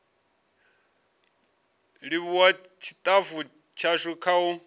livhuwa tshitafu tshashu kha u